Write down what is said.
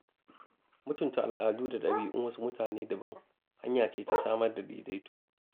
Mutunta al'adu da ɗabi'un wasu mutane daban, hanya ce ta samar da daidaito.